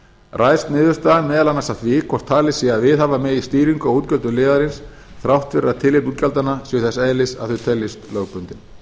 ræðst niðurstaðan meðal annars af því hvort talið sé að viðhafa megi stýringu á útgjöldum liðarins þrátt fyrir að tilefni útgjaldanna séu þess eðlis að þau teljist lögbundin